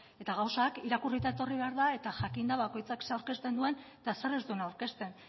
eta gauzak irakurrita etorri behar da eta jakinda bakoitzak zer aurkezten duen eta zer ez duen aurkezten